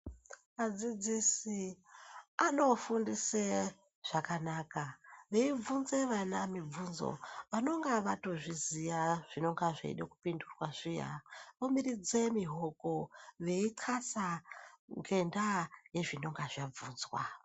Adzidzisi ano fundise zvakanaka vei bvunze vana mibvunzo vanonga vato zviziya zvinonga zveide ku pindurwa zviya omiridze mihoko vei ndxasa ngenda ye zvinonga zvabvunzwa.